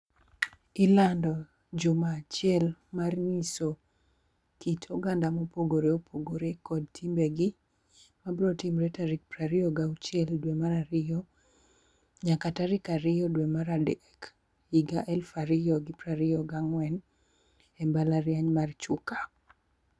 Ilando juma achiel mar nyiso, kit oganda mopogore opogore kod timbegi mabro timre tarik piero ariyo gauchiel dwe mar ariyo nyaka tariyo dwe mar adek higa elf ariyo gi piero ariyo gang'wen, e mbalariany mar Chuka